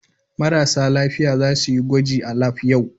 Marasa lafiya za su yi gwaji a lab yau.